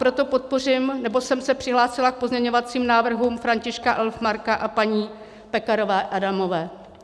Proto podpořím, nebo jsem se přihlásila k pozměňovacím návrhům Františka Elfmarka a paní Pekarové Adamové.